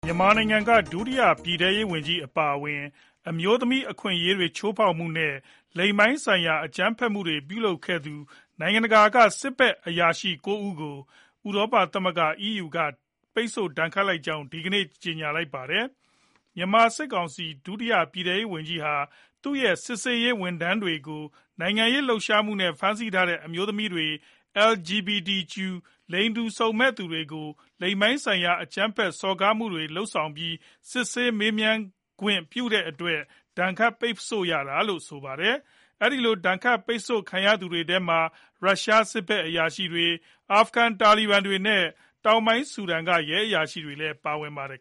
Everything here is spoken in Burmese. မြန်မာနိုင်ငံက ဒုတိယပြည်ထဲရေးဝန်ကြီး အပါအဝင် အမျိုးသမီး အခွင့်အရေးတွေကို ချိုးဖောက်မူနဲ့ လိင်ပိုင်ဆိုင်ရာ အကြမ်းဖက်မှု ပြုလုပ်ခဲ့သူ နိုင်ငံတကာက စစ်ဖက်အရာရှိ ၉ ဦးကို ဥရောပသမဂ္ဂ EU က ပိတ်ဆို့ ဒဏ်ခတ်လိုက်ကြောင်း ဒီကနေ့ ကြေညာပါတယ်။ မြန်မာ ဒုတိယ ပြည်ထဲရေးဝန်ကြီးဟာ သူရဲ့စစ်ဆေးရေးဝန်ထမ်းတွေကို နိုင်ငံရေးလှုပ်ရှားမှုနဲ့ ဖမ်းဆီးထားတဲ့ အမျိုးသမီးတွေ၊ LGBTQ လိင်စိတ်ခံယူမှုကွဲပြားသူတွေအပေါ် လိင်ပိုင်းဆိုင်ရာ အကြမ်းဖက် စော်ကားမှုတွေကို လုပ်ဆောင်ပြီး စစ်ဆေးမေးမြန်းခွင့်ပြုထားတဲ့အတွက် ဒဏ်ခတ်ပိတ်ဆို့ရတာဖြစ်ပါတယ်။ အဲဒီလို ဒဏ်ခတ်ခံရတဲ့ သူတွေထဲမှာ ရုရှားစစ်ဖက်အရာရှိတွေ၊ အာဖဂန် တာလီဘန်တွေနဲ့ တောင်ပိုင်း ဆူဒန်က ရဲအရာရှိတွေလည်း ပါဝင်ပါတယ်